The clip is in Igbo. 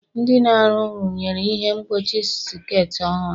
Ndị na-arụ rụnyere ihe mgbochi sekit ọhụrụ.